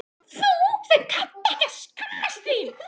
Þú sem kannt ekki að skammast þín.